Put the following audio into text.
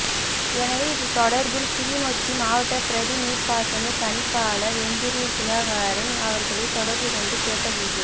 எனவே இது தொடா்பில் கிளிநொச்சி மாவட்ட பிரதி நீா்ப்பாசன பணிப்பாளா் எந்திரி சுதாகரன் அவா்களை தொடா்பு கொண்டு கேட்ட போது